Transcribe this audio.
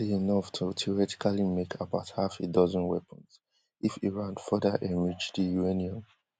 dat dey enough to theoretically make about half a dozen weapons if iran further enrich di uranium